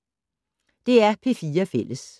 DR P4 Fælles